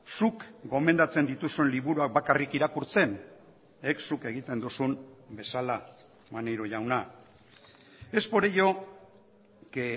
zuk gomendatzen dituzun liburuak bakarrik irakurtzen zuk egiten duzun bezala maneiro jauna es por ello que